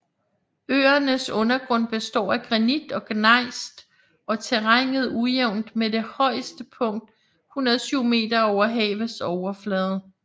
Øernes undergrund består af granit og gnejs og terrænet ujævnt med det højeste punkt 107 meter over havets overflade